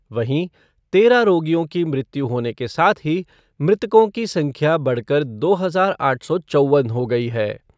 वहीं तेरह रोगियों की मृत्यु होने के साथ ही मृतकों की संख्या बढ़कर दो हजार आठ सौ चौवन हो गई है।